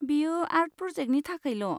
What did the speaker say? बेयो आर्ट प्रजेक्टनि थाखायल'।